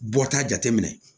Bɔta jate minɛ